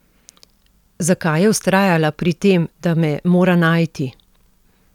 Zakaj je vztrajala pri tem, da me mora najti?